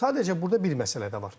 Sadəcə burda bir məsələ də var.